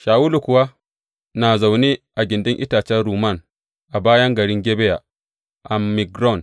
Shawulu kuwa na zaune a gindin itacen rumman a bayan garin Gibeya a Migron.